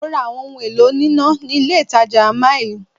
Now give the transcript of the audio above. Mo ra àwọn ohun èlò oníná ní ilé ìtàjà mill.